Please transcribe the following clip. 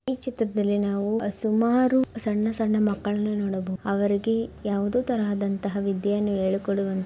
ಈ ಚಿತ್ರದಲ್ಲಿ ನಾವು ಸುಮಾರು ಸಣ್ಣ ಸಣ್ಣ ಮಕ್ಕಳನ್ನು ನೋಡಬಹು ಅವ್ರಿಗೆ ಯಾವೊದೋ ತರಹದಂತಹ ವಿದ್ಯೆಯನ್ನು ಹೇಳಿಕೊಡುವಂತ --